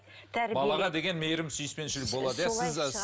балаға деген мейірім сүйіспеншілік болады